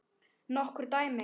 Nokkur dæmi?